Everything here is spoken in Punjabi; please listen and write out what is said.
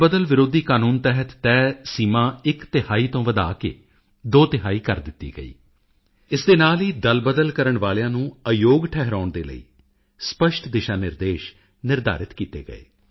ਬਦਲ ਵਿਰੋਧੀ ਕਾਨੂੰਨ ਤਹਿਤ ਤੈਅ ਸੀਮਾਂ ਇੱਕ ਤਿਹਾਈ ਤੋਂ ਵਧਾ ਕੇ ਦੋ ਤਿਹਾਈ ਕਰ ਦਿੱਤੀ ਗਈ ਇਸ ਦੇ ਨਾਲ ਹੀ ਦਲਬਦਲ ਕਰਨ ਵਾਲਿਆਂ ਨੂੰ ਅਯੋਗ ਠਹਿਰਾਉਣ ਦੇ ਲਈ ਸਪੱਸ਼ਟ ਦਿਸ਼ਾਨਿਰਦੇਸ਼ ਵੀ ਨਿਰਧਾਰਿਤ ਕੀਤੇ ਗਏ